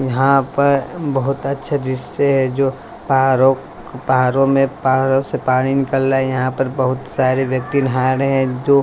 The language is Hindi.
यहां पर बहुत अच्छा दृश्य हैं जो पहाड़ों पहाड़ों में पहाड़ों से पानी निकलना यहां पर बहुत सारे व्यक्ति नहा रहे हैं जो--